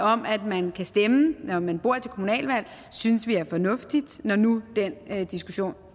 om at man kan stemme når man bor her til kommunalvalg synes vi er fornuftigt når nu den diskussion